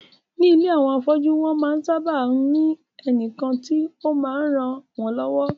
Ní ilé àwọn afọ́jú, wọ́n máa ń sábà ní ẹnìkan tí ó máa ń ràn wón lọ́wọ́